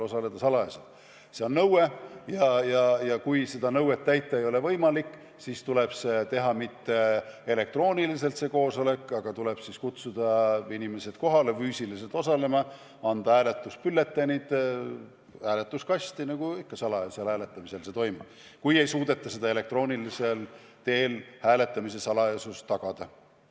See on nõue ja kui seda nõuet täita ei ole võimalik, siis tuleb kutsuda inimesed kohale füüsiliselt osalema, anda hääletusbülletäänid, hääletuskast – nagu ikka salajasel hääletamisel toimub, kui ei suudeta elektroonilisel teel hääletamise salajasust tagada.